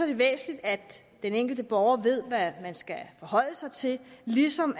det væsentligt at den enkelte borger ved hvad vedkommende skal forholde sig til ligesom